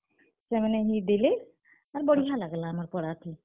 ସେମାନେ ବି ଦେଲେ, ଆର୍ ବଢିଆ ଲାଗ୍ ଲା ଆମର୍ ପଡା ଥି।